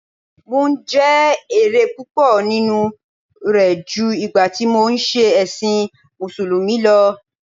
Mò ń jẹ èrè púpọ̀ nínú rẹ̀ ju ìgbà tí mò ń ṣe ẹ̀sìn musulumi lọ